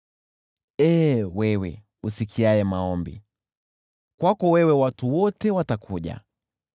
Ewe usikiaye maombi, kwako wewe watu wote watakuja.